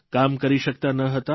કામ કરી શકતા ન હતા